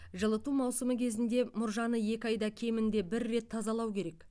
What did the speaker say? жылыту маусымы кезінде мұржаны екі айда кемінде бір рет тазалау керек